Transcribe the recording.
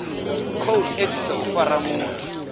khou edzisa u fara muthu